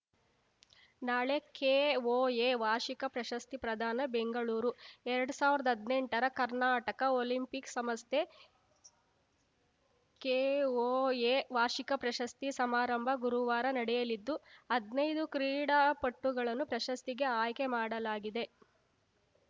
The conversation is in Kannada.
ನಾಳೆ ಕೆಒಎ ವಾರ್ಷಿಕ ಪ್ರಶಸ್ತಿ ಪ್ರದಾನ ಬೆಂಗಳೂರು ಎರಡ್ ಸಾವಿರದ ಹದ್ನೆಂಟರ ಕರ್ನಾಟಕ ಒಲಿಂಪಿಕ್‌ ಸಂಸ್ಥೆಕೆಒಎ ವಾರ್ಷಿಕ ಪ್ರಶಸ್ತಿ ಸಮಾರಂಭ ಗುರುವಾರ ನಡೆಯಲಿದ್ದು ಹದ್ನೈದು ಕ್ರೀಡಾಪಟುಗಳನ್ನು ಪ್ರಶಸ್ತಿಗೆ ಆಯ್ಕೆ ಮಾಡಲಾಗಿದೆ